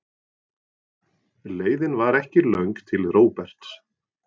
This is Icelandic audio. Leiðin var ekki löng til Róberts.